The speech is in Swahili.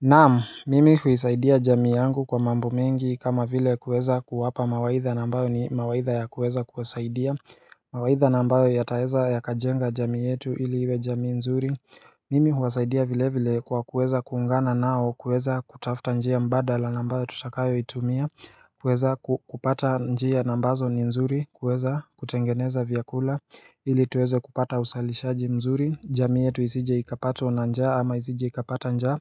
Naam, mimi huisaidia jamii yangu kwa mambo mengi kama vile kuweza kuwapa mawaidha na ambayo ni mawaidha ya kuweza kuwasaidia mawaidha na ambayo yataeza ya kajenga jamii yetu ili iwe jamii nzuri Mimi huwasaidia vile vile kwa kuweza kuungana nao kuweza kutafuta njia mbadala na ambayo tutakayo itumia kuweza kupata njia na ambazo ni nzuri kuweza kutengeneza vyakula ili tuweze kupata uzalishaji mzuri, jamii yetu isije ikapatwa na njaa ama isije ikapata njaa